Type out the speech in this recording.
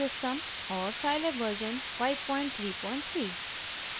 और scilab version 533